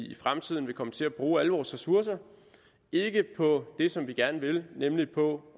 i fremtiden vil komme til at bruge alle vores ressourcer ikke på det som vi gerne vil nemlig på